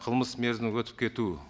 қылмыс мерзімінің өтіп кетуі